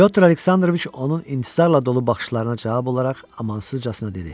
Pətr Aleksandroviç onun intizarla dolu baxışlarına cavab olaraq amansızcasına dedi.